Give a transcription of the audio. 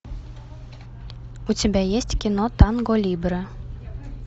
у тебя есть кино танго либре